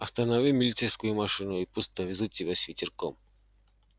останови милицейскую машину и пусть довезут тебя с ветерком